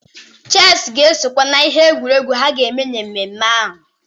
Cheesị ga-esokwe n'ihe egwuregwu ha ga-eme na mmemme ahụ.